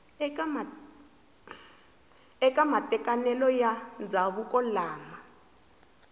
eka matekanelo ya ndzhavuko lama